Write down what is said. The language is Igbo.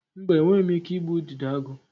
Mba, enweghị m ike igbu Udidoagu.